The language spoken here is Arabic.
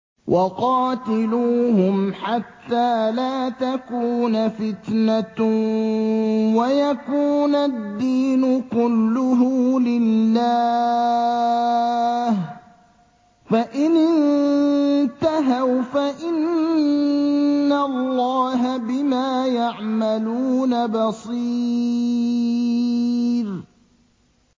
وَقَاتِلُوهُمْ حَتَّىٰ لَا تَكُونَ فِتْنَةٌ وَيَكُونَ الدِّينُ كُلُّهُ لِلَّهِ ۚ فَإِنِ انتَهَوْا فَإِنَّ اللَّهَ بِمَا يَعْمَلُونَ بَصِيرٌ